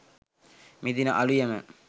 මෙදින අලුයම